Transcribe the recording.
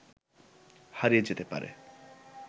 হারিয়ে যেতে পারে